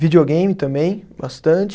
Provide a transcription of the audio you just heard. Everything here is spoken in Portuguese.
Videogame também, bastante.